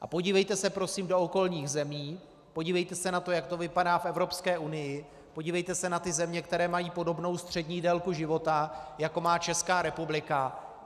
A podívejte se prosím do okolních zemí, podívejte se na to, jak to vypadá v Evropské unii, podívejte se na ty země, které mají podobnou střední délku života, jako má Česká republika.